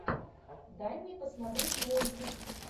дай мне посмотреть мультик